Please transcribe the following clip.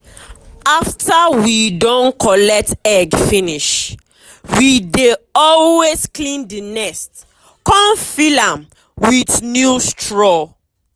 after we don collect egg finishwe dey always clean the nest con fill am with new straw.